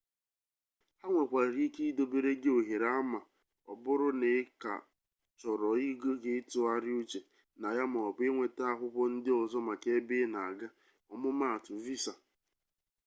ha nwekwara ike idobere gị ohere a ma ọ bụrụ na ị ka chọrọ oge ịtụgharị uche na ya maọbụ ịnweta akwụkwọ ndị ọzọ maka ebe ị na-aga ọmụmaatụ: visa